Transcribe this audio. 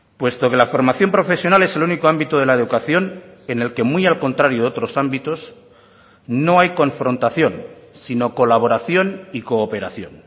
puesto que la formación profesional es el único ámbito de la educación en el que muy al contrario de otros ámbitos no hay confrontación sino colaboración y cooperación